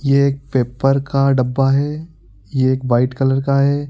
ये एक पेपर का डब्बा है ये एक वाइट कलर का है।